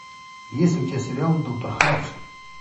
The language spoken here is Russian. есть ли у тебя сериал доктор хаус